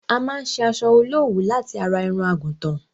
A má n ṣe asọ olówuú láti ara irun àgùtàn.